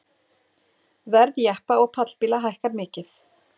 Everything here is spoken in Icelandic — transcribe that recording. Verð jeppa og pallbíla hækkar mikið